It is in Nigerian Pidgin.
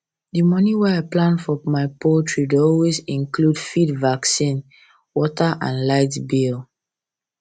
d moni wey i plan for my poultry dey always include feed vaccine water and light bill